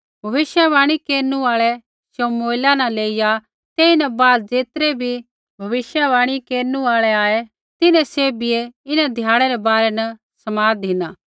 भविष्यवाणी केरनु आल़ै शमुएला न लेइया तेईन बाद ज़ेतरै बी भविष्यवाणी केरनु आल़ा आऐ तिन्हैं सैभियै इन्हां ध्याड़ै रै बारै न समाद धिना